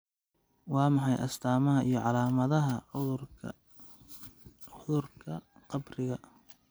Waa maxay astamaha iyo calaamadaha cudurka qabriga?